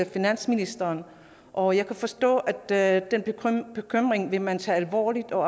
finansministeren og jeg kan forstå at den bekymring vil man tage alvorligt og